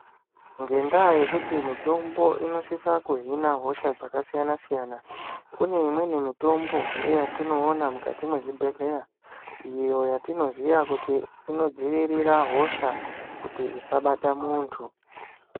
Ngendaa yekuti mutombo inosisa kuhina hosha dzakasiyana-siyana. Kune imweni mitombohe yatinoona kukati mezvibhedhleya, iyo yatino ziya kuti inodzivirira hosha kuti dzisabata muntu.